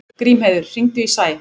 Grímheiður, hringdu í Sæ.